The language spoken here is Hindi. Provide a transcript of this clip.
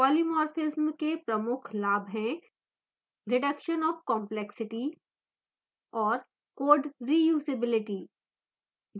polymorphism के प्रमुख लाभ हैं: reduction of complexity और code reusability